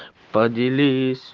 поделись